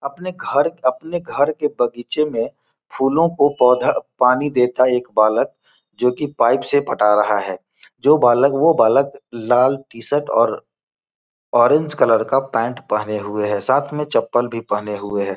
अपने घर अपने घर के बगीचे में फूलों को पौधा पानी देता एक बालक जो कि पाइप से फटा रहा है जो बालक वो बालक लाल टी-शर्ट और ऑरेंज कलर के पेण्ट पहने हुए है साथ में चप्पल भी पहने हुए है।